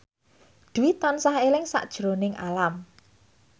Dwi tansah eling sakjroning Alam